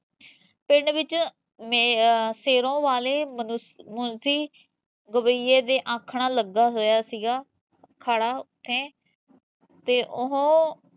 ਪਿੰਡ ਵਿਚ ਸ਼ੇਰੋ ਵਾਲੇ ਮੁਨਸ਼ੀ ਗਵਾਈਏ ਦੇ ਆਖਣ ਲੱਗਾ ਹੋਇਆ ਸੀਗਾ ਅਖਾੜਾ ਉੱਥੇ ਤੇ ਉਹ